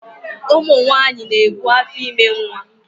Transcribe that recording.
Ụmụnyanyị na-ebu afọime nwa